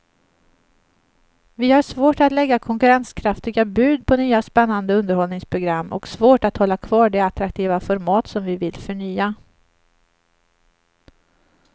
Vi har svårt att lägga konkurrenskraftiga bud på nya spännande underhållningsprogram och svårt att hålla kvar de attraktiva format som vi vill förnya.